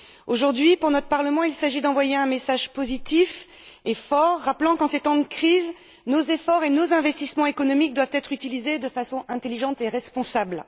Aujourd'hui, pour notre Parlement, il s'agit d'envoyer un message positif et fort, rappelant qu'en ces temps de crise, nos efforts et nos investissements économiques doivent être utilisés de façon intelligente et responsable.